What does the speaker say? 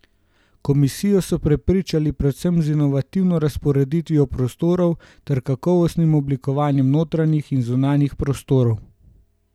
Komisijo so prepričali predvsem z inovativno razporeditvijo prostorov ter kakovostnim oblikovanjem notranjih in zunanjih prostorov.